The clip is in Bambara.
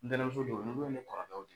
Ntɛnɛnmuso jo n'i b'o ni kɔrɔkɛw di